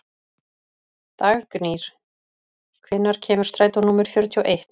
Dagnýr, hvenær kemur strætó númer fjörutíu og eitt?